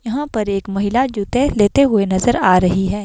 यहां पर एक महिला जूते लेते हुए नजर आ रही है।